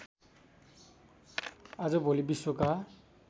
आजभोलि विश्वका